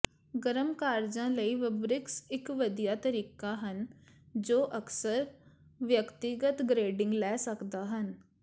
ਗਰਮ ਕਾਰਜਾਂ ਲਈ ਵਬ੍ਰਿਕਸ ਇਕ ਵਧੀਆ ਤਰੀਕਾ ਹਨ ਜੋ ਅਕਸਰ ਵਿਅਕਤੀਗਤ ਗਰੇਡਿੰਗ ਲੈ ਸਕਦੇ ਹਨ